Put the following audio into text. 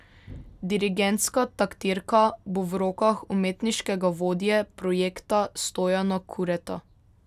Dirigentska taktirka bo v rokah umetniškega vodje projekta Stojana Kureta.